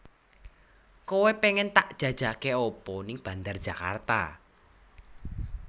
Koe pengen tak jajake apa ning Bandar Djakarta